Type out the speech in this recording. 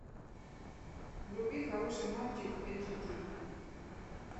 вруби хороший мальчик эйч ди